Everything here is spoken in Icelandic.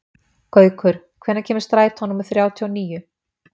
Gaukur, hvenær kemur strætó númer þrjátíu og níu?